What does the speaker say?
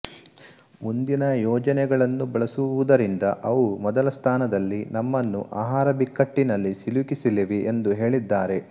ಮುಂದಿನ ಯೋಜನೆಗಳನ್ನು ಬಳಸುವುದರಿಂದ ಅವು ಮೊದಲ ಸ್ಥಾನದಲ್ಲಿ ನಮ್ಮನ್ನು ಆಹಾರ ಬಿಕ್ಕಟ್ಟಿನಲ್ಲಿ ಸಿಲುಕಿಸಲಿವೆ ಎಂದು ಹೇಳಿದ್ದಾರೆ